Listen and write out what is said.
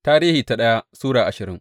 daya Tarihi Sura ashirin